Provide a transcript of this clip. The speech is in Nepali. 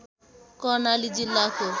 कर्णाली जिल्लाको